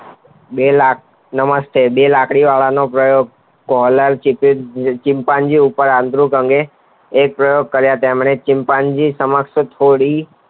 બેલાત નમસ્તે બે લાકડી વાળા નો પ્રયોગ પહેલાચિમ્પાજીન ઉપર આંદ્રિક અને એક ચિમ્પાજીન સમક્ષ થોડી